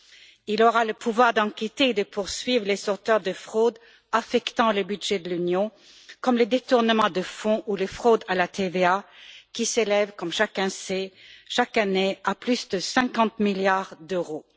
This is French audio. Celui ci aura le pouvoir d'enquêter et de poursuivre les auteurs de fraudes affectant le budget de l'Union, comme les détournements de fonds ou les fraudes à la TVA, qui s'élèvent, comme chacun le sait, chaque année, à plus de 50 milliards d'euros.